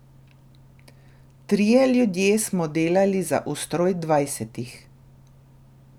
Trije ljudje smo delali za ustroj dvajsetih.